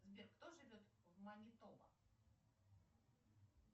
сбер кто живет в манитоба